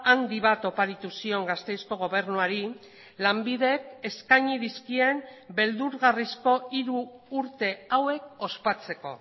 handi bat oparitu zion gasteizko gobernuari lanbidek eskaini dizkien beldurgarrizko hiru urte hauek ospatzeko